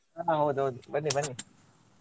ಹಾ ಹೌದೌದು ಬನ್ನಿಬನ್ನಿ.